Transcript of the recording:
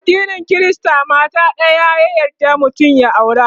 addinin Krista mata ɗaya ta yarda mutum ya aura